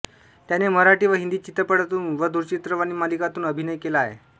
त्याने मराठी व हिंदी चित्रपटांतून व दूरचित्रवाणी मालिकांतून अभिनय केला आहे